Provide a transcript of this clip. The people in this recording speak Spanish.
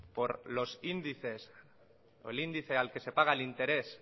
por los índices o el índice al que se paga el interés